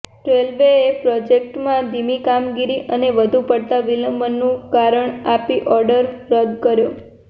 રેલવેએ પ્રોજેક્ટમાં ધીમી કામગીરી અને વધુ પડતા વિલંબનું કારણ આપી ઓર્ડર રદ કર્યો